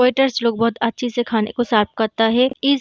waiters लोग बहुत अच्छे से खाने को सर्व करता है इस --